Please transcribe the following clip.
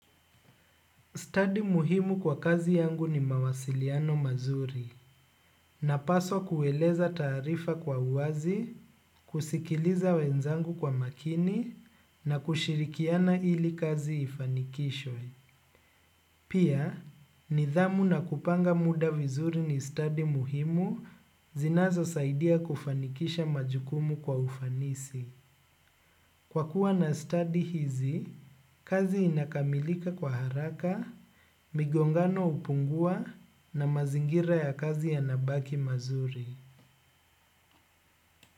Stadi muhimu kwa kazi yangu ni mawasiliano mazuri napaswa kueleza tarifa kwa uwazi, kusikiliza wenzangu kwa makini na kushirikiana ili kazi ifanikishwe. Pia, nidhamu na kupanga muda vizuri ni stadi muhimu zinazo saidia kufanikisha majukumu kwa ufanisi. Kwa kuwa na stadi hizi, kazi inakamilika kwa haraka migongano hupungua na mazingira ya kazi yanabaki mazuri.